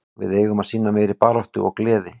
Við eigum að sýna meiri baráttu og gleði.